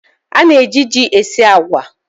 A na-eji ji esi agwa.